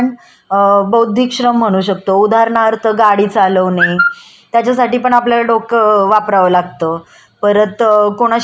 बार त कोणाशी बोलताना विचार करून बोलावं लागत. जप जे आपण बुद्धीला ताण देऊन काम करतो त्याला बौद्धिक श्रम म्हणतात.